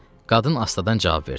Qadın astadan cavab verdi.